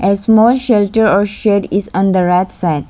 A small shelter or shed is on the right side.